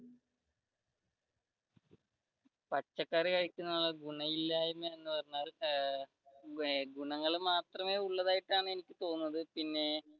പച്ചക്കറി കഴിക്കുന്നത് കൊണ്ട് ഗുണമിലായ്മ എന്ന് പറഞ്ഞാൽ ഏർ ഗുണങ്ങൾ മാത്രമേ ഉള്ളതായിട്ടാണ് എനിക്ക് തോന്നുന്നത് പിന്നെ